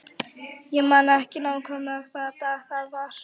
Ég man ekki nákvæmlega hvaða dag það var.